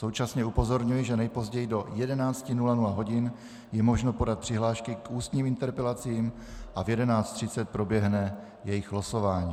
Současně upozorňuji, že nejpozději do 11.00 hodin je možno podat přihlášky k ústním interpelacím a v 11.30 proběhne jejich losování.